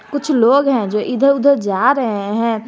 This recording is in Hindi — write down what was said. कुछ लोग हैं जो इधर उधर जा रहे है।